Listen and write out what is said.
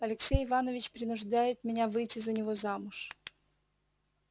алексей иванович принуждает меня выйти за него замуж